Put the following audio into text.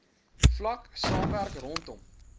vlak saamwerk rondom